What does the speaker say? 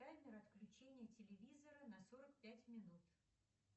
таймер отключения телевизора на сорок пять минут